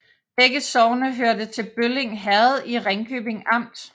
Begge sogne hørte til Bølling Herred i Ringkøbing Amt